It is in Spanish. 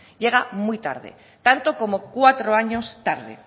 llega muy tarde tanto como cuatro años tarde